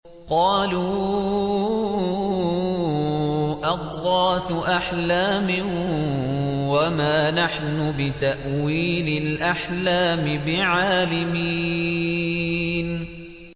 قَالُوا أَضْغَاثُ أَحْلَامٍ ۖ وَمَا نَحْنُ بِتَأْوِيلِ الْأَحْلَامِ بِعَالِمِينَ